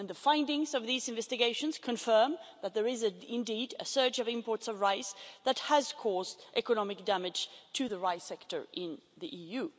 The findings of these investigations confirm that there is indeed a surge of imports of rice that has caused economic damage to the rice sector in the EU.